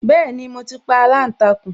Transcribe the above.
Bẹẹni, mo ti pa aláǹtakùn